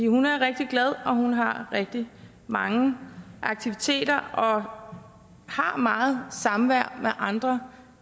hun er rigtig glad og hun har rigtig mange aktiviteter og har meget samvær med andre